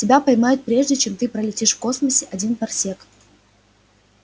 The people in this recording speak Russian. тебя поймают прежде чем ты пролетишь в космосе один парсек